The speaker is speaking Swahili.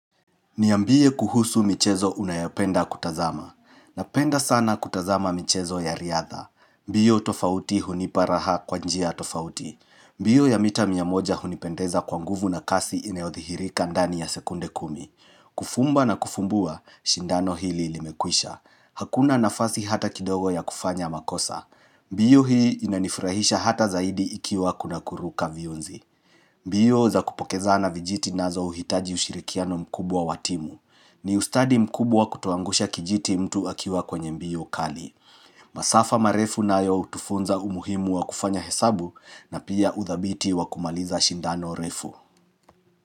Niambie kuhusu michezo unayopenda kutazama. Napenda sana kutazama michezo ya riadha. Mbio tofauti hunipa raha kwa njia tofauti. Mbio ya mita mia moja hunipendeza kwa nguvu na kasi inayothihirika ndani ya sekunde kumi. Kufumba na kufumbua, shindano hili limekwisha. Hakuna nafasi hata kidogo ya kufanya makosa. Mbio hii inanifarahisha hata zaidi ikiwa kuna kuruka viunzi. Mbio za kupokezana vijiti nazo huhitaji ushirikiano mkubwa wa timu. Ni ustadi mkubwa kutoangusha kijiti mtu akiwa kwenye mbio kali. Masafa marefu nayo hutufunza umuhimu wa kufanya hesabu na pia uthabiti wa kumaliza shindano refu.